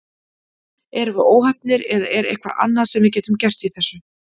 Erum við óheppnir eða er eitthvað annað sem við getum gert í þessu?